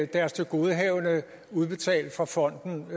deres tilgodehavende udbetalt fra fonden